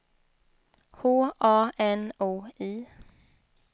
H A N O I